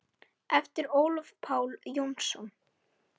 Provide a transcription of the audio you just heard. eftir Ólaf Pál Jónsson